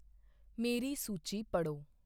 ਮੇਰੀ ਸੂਚੀ ਪੜ੍ਹੋ